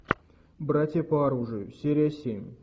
братья по оружию серия семь